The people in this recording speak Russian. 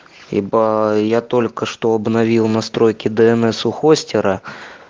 ибо я только что обновил настройки днс у хостера